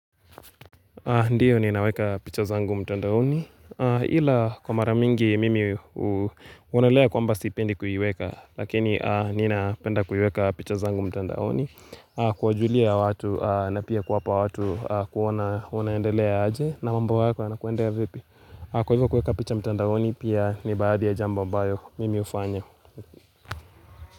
Ndiyo ninaweka picha zangu mtandaoni, ila kwa maramingi mimi huonalea kwamba stipendi kuiweka, lakini nina penda kuiweka picha zangu mtandaoni, kuwajulia watu na pia kuwapa watu kuonaendelea aje na mamba wako anakuendea vipi. Kwa hivyo kueka picha mtandaoni pia ni baadhi ya jamboa mbayo mimi hufanya.